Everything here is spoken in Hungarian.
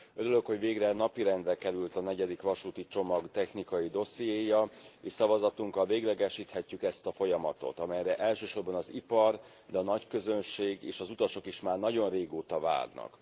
Örülök, hogy végre napirendre került a negyedik vasúti csomag technikai dossziéja, és szavazatunkkal véglegesíthetjük ezt a folyamatot, amelyre elsősorban az ipar, de a nagyközönség és az utasok is már nagyon régóta várnak.